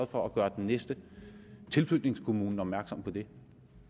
for at gøre den næste tilflytningskommune opmærksom på det